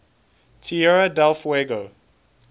tierra del fuego